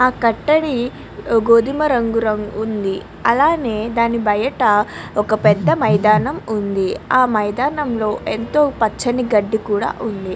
అలానే ఆ కతడి గోధుమ రంగులో ఉన్షి అక్కడ బయట కూడా ఉన్నదీ.